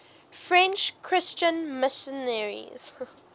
french christian missionaries